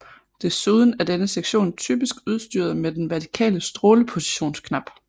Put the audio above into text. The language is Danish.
Desuden er denne sektion typisk udstyret med den vertikale strålepositionsknap